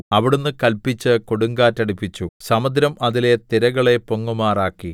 അവിടുന്ന് കല്പിച്ച് കൊടുങ്കാറ്റടിപ്പിച്ചു സമുദ്രം അതിലെ തിരകളെ പൊങ്ങുമാറാക്കി